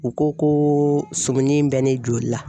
U ko ko sumunin in bɛ ne joli la.